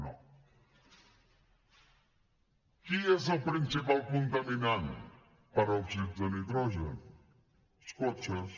qui és el principal contaminant per òxids de nitrogen els cotxes